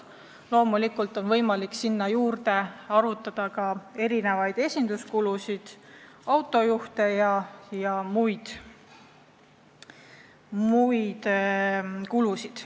Loomulikult väheneksid ka erinevad esinduskulud, kulud autojuhtide palkamiseks jms.